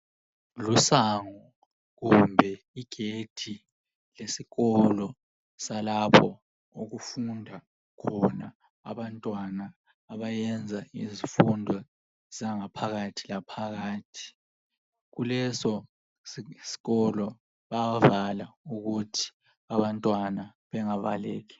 Isango kumbe igedi lesikolo salapho okufunda khona abantwana abayenza izifundo zangaphakathi laphakathi kuleso sikolo bayavala ukuze abantwana bangabaleki.